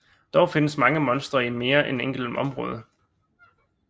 Dog findes mange monstre i mere end et enkelt område